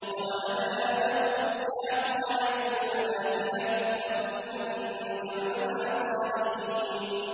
وَوَهَبْنَا لَهُ إِسْحَاقَ وَيَعْقُوبَ نَافِلَةً ۖ وَكُلًّا جَعَلْنَا صَالِحِينَ